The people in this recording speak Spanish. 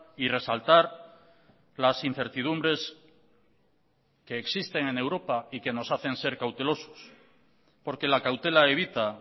y resaltar las incertidumbres que existen en europa y que nos hacen ser cautelosos porque la cautela evita